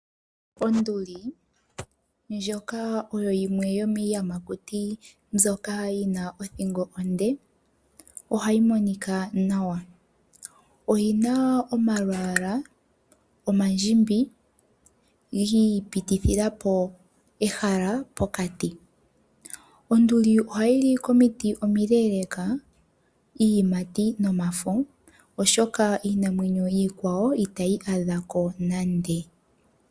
Onduli ndjoka oyo yimwe yo miiyamakuti mbyoka yi na othingo onde. Ohayi monika nawa, oyi na omalwaala omandjimbi giipitithila po ehala pokati. Onduli ohayi li komiti omile iiyimati nomafo, oshoka iinamwenyo iikwawo itayi adha ko nande.